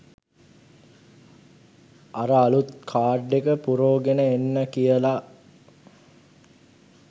අර අළුත් කාඩ් එක පුරෝගෙන එන්න" කියලා